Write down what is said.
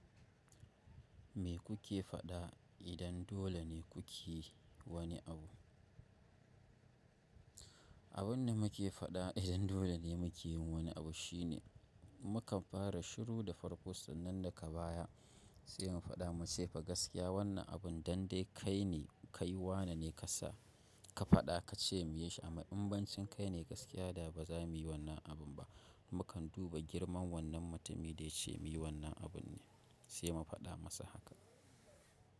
Me kuke faɗa idan dole ne ku ke wani abu? Abun da muke faɗa idan dole ne mu yin wani abu shine mukan fara shiru da farko sannan daga baya sai mu faɗa muce fa gaskiya wannan abun dan dai kai ne, kai wane ne ka sa ka faɗa ka ce mu yi shi amma in bacin kai ne gaskiya da ba za mu yi wannan abun ba. Mukan duba girman wannan mutumin da ya ce mu yi wannan abun ne sai mu faɗa masa haka.